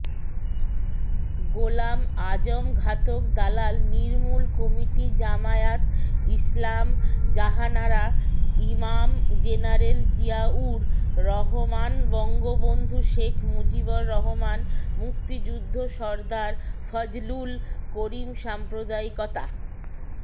গোলাম আজমঘাতক দালাল নির্মূল কমিটিজামায়াত ইসলামজাহানারা ইমামজেনারেল জিয়ায়ুর রহমানবঙ্গবন্ধু শেখ মুজিবর রহমানমুক্তিযুদ্ধসরদার ফজলুল করিমসাম্প্রদায়িকতা